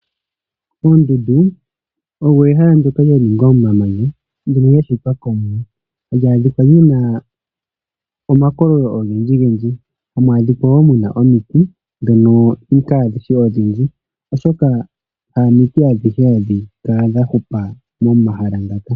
Oondundu odho ehala ndono lyaningwa momamanya ndoka lyashitwa komwene hali adhikwa muna omakololo ogendji gendji, hamu adhikwa wo muna omiti dhono kadhishi odhindji oshoka hamiti adhihe hadhi kala dhahupa momahala ngaka.